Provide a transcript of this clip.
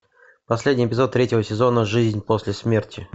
последний эпизод третьего сезона жизнь после смерти